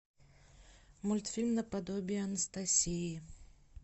мультфильм наподобие анастасии